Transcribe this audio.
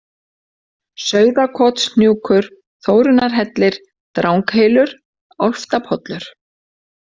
Sauðakotshnjúkur, Þórunnarhellir, Dranghylur, Álftapollur